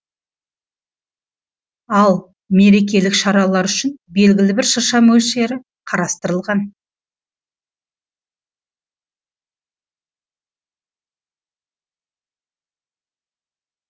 ал мерекелік шаралар үшін белгілі бір шырша мөлшері қарастырылған